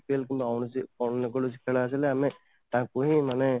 IPL ମାନେ ଅନ୍ୟକୌଣସି ଖେଳ ଥିଲେ ଆମେ ତାଙ୍କୁ ହିଁ ମାନେ